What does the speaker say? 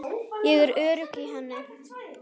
Ég er örugg í henni.